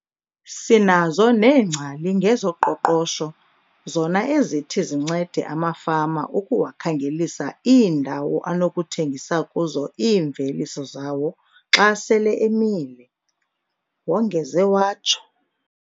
"Sinazo neengcali ngezoqoqosho zona ezithi zincede amafama ukuwakhangelisa iindawo anokuthengisa kuzo iimveliso zawo xa sele emile," wongeze watsho.